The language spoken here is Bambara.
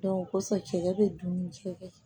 o kosɔn cɛ bɛ dun ni cɛ ye